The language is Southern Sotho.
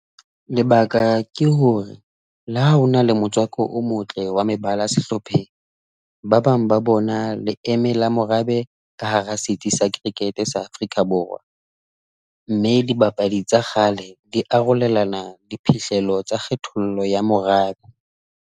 Lebaka ke hore, le ha hona le motswako o motle wa mebala sehlopheng, ba bang ba bona leeme la morabe ka hara setsi sa Cricket-e sa Afrika Borwa, mme dibapadi tsa kgale di arolelana diphihlello tsa kgethollo ya morabe.